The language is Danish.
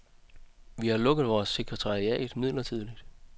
Vi har lukket vores sekretariat midlertidigt.